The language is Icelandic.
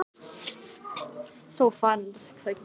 Smám saman varð hún að fyrirmyndinni minni.